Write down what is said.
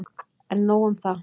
En nóg um það.